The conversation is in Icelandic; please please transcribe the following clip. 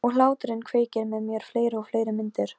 Það er út af syni þínum.